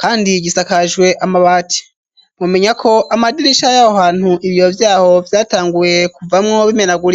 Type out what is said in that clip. kandi gisakajwe amabati mumenya ko amadirisha y'aho hantu ibiyo vyaho vyatanguye kuvamwo bimenagurika.